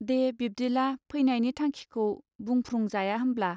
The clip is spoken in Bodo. दे बिब्दिला फैनायनि थांखिखौ बुंफ्रुं जाया होमब्ला.